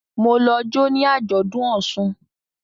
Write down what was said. Ma lọ jo ní Ajọdun òsùn